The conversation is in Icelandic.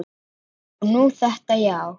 Og nú þetta, já.